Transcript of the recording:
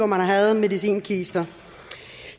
man havde medicinkister